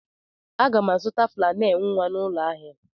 Aga m azụta flannel nwa n'ụlọ ahịa.